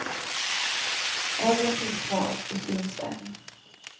Ärren finns kvar och syns än.